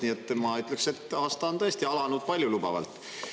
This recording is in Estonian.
Nii et ma ütleks, et aasta on tõesti alanud paljulubavalt.